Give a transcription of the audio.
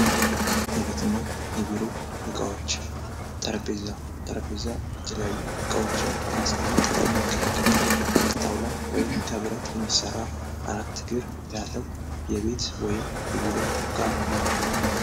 የቤትና የቢሮ እቃዎች ጠረጴዛ ጠረጴዛ የተለያዩ ዕቃዎችን እቃዎችን ለማስቀመጥ የምንገለግልበት ከጣውላ ወይም ከብረት የሚሰራ አራት እግር ያለው የቤት ወይም የቢሮ እቃ ነው::